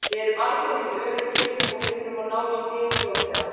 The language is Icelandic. Við erum alls ekki öruggir og við þurfum að ná í stig fljótlega.